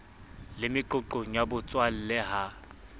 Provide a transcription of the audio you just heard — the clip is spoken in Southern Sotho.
le meqoqong ya botswalle ha